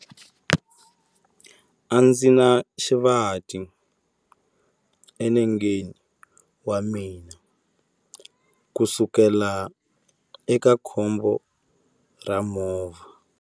Ndzi na xivati enengeni wa mina kusukela eka khombo ra movha.